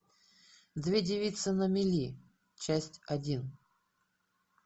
две девицы на мели часть один